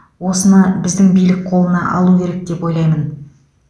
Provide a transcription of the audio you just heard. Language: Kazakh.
осыны біздің билік қолына алу керек деп ойлаймын